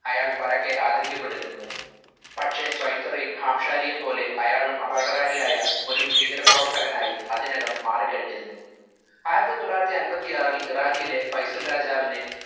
അയാൾ പരക്കെ ആദരിക്കപ്പെട്ടിരുന്നു. പക്ഷെ സ്വൈറ്ററെയും ഹാംശാരിയെയും പോലെ അയാളും അപകടകാരിയായ ഒരു ഭീകര പ്രവർത്തകനായി അതിനകം മാറിക്കഴിഞ്ഞിരുന്നു ആയിരത്തി തൊള്ളായിരത്തി അമ്പത്തി ആറിൽ ഇറാഖിലെ ഫൈസൽ രാജാവിനെ